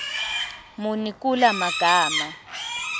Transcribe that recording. muni kula magama